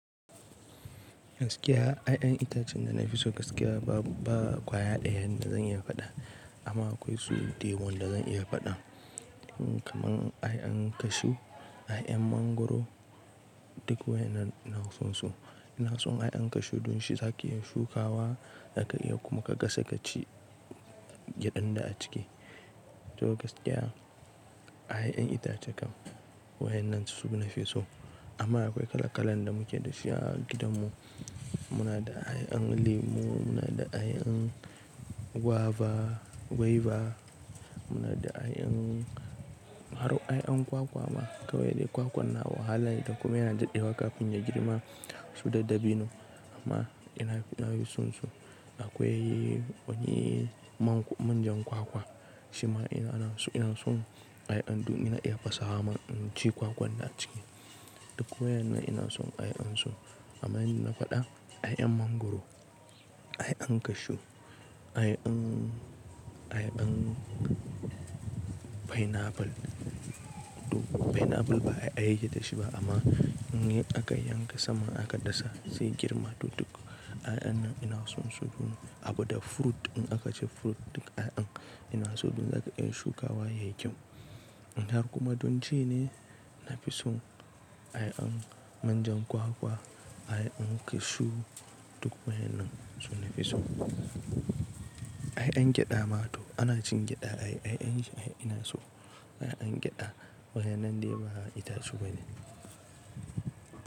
Gaskiya, yayan itacen da na fi so gaskiya ba kwaya ɗaya da zan iya faɗa amma akwai su da yawa wan da zan iya faɗa. Kaman yayan cashew, yayan mangwaro duk wayannan ina son su. Ina son yayan cashew don shi zaki iya shukawa zaka iya kuma ka gasa ka ci gyadan da a ciki. To gaskiya ya'yan itace kam wayen nan su nafi so. Amma akwai kala kalan da muke da shi a gidanmu. Muna da ya'yan lemu, muna da ya'yan guava, guava, muna da ya'yan har ya'yan kwakwa ma kawai dai kwakwan na wahala da kuma yana daɗewa kafin ya girma su da dabino amma ina yin son su. Akwai wani manjan kwakwa shima ina son ya'yan don ina iya fasawa man ci kwakwan da a ciki. Duk wayannan ina son ya'yan su amma in da na faɗa ya'yan mangwaro, ya'yan cashew, ya'yan, ya'yan pineapple. Pineapple ba ya'ya yake dashi ba amma in aka yanka saman aka dasa zai girma. Duk ya'yan nan ina son su abu da fruit in aka ce fruit duk ya'yan ina so don zaka iya shukawa yayi kyau. Har kuma don ci ne na fi son ya'yan manjan kwakwa, ya'yan cashew duk wayen nan su nafi so. Ya'yan gyada ma to ana cin gyada ai ya'ya shi ina so. Ya'yan gyada wayen nan dai ba itace bane.